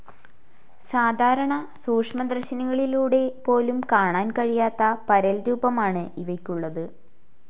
സാധാരണ സൂക്ഷ്മദർശിനികളിലൂടെ പോലും കാണാൻ കഴിയാത്ത പരൽരൂപമാണ് ഇവയ്ക്കുള്ളത്.